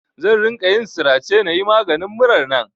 Zan ringa yin sirace na yi maganin murar nan.